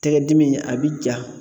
Tɛgɛdimi a bɛ ja.